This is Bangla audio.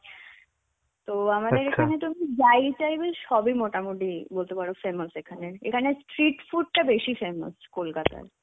তো আমাদের এখানে তো যাই type এর সবই মোটামুটি বলতে পারো famous এখানে. এখানে Street food টা বেশি famous কলকাতার.